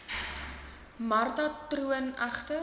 marta troon egter